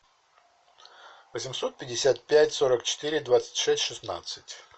восемьсот пятьдесят пять сорок четыре двадцать шесть шестнадцать